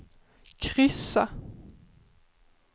kryssa